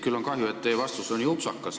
Küll on kahju, et teie vastus oli nii upsakas.